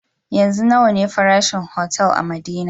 Yanzu nawa ne farashin otal a madina